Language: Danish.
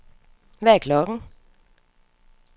Hvad er klokken